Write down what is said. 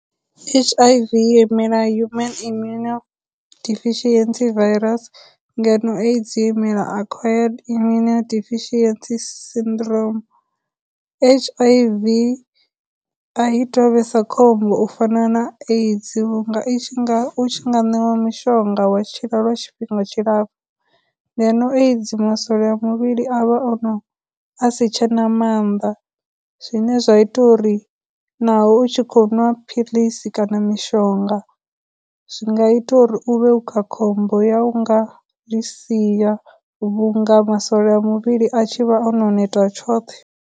H_I_V yo imela human immuno deficiency virus ngeno, AIDS yo imela acquired immuno deficiency syndrome. H_I_V a i tou vhesa khombo u fana na AIDS vhunga i tshi nga, u tshi nga ṋewa mishonga wa tshila lwa tshifhinga tshilapfu, ngeno AIDS masole a muvhili avha o no, asi tshena maanḓa, zwine zwa ita uri naho u tshi khou nwa philisi kana mishonga, zwi nga ita uri uvhe u kha khombo ya u nga zwi siya vhunga masole a muvhili a tshi vha ono neta tshoṱhe.